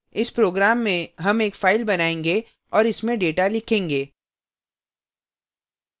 इस program में हम एक फाइल बनायेंगे और इसमें data लिखेंगे